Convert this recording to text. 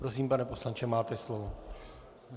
Prosím, pane poslanče, máte slovo.